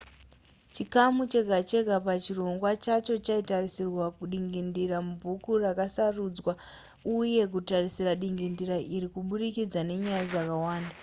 chikamu chega chega pachirongwa chacho chaitarisa dingindira mubhuku rakasarudzwa uye kutarisa dingindira iri kuburikidza nenyaya dzakawanda